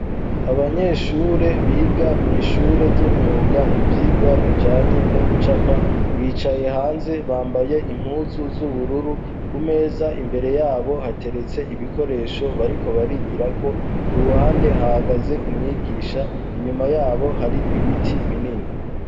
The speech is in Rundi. Abanyeshure biga mu ishure ry'imyuga ibyigwa bijanye no gucapa bicaye hanze bambaye impuzu z'ubururu ku meza imbere yabo hateretse ibikoresho bariko barigira ko ku ruhande hagaze umwigisha inyuma yabo hari ibiti binini.